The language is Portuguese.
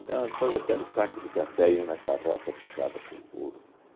Então, todo aquele saco de café iam na carroça puxada por burro.